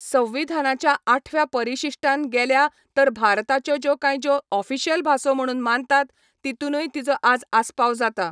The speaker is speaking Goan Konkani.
संविधानाच्या आठव्या परिशिश्टान गेल्या तर भारताच्यो ज्यो कांय ज्यो ओफिशयल भासो म्हणून मानतात तितुनय तिजो आज आस्पाव जाता